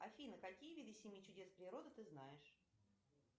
афина какие виды семи чудес природы ты знаешь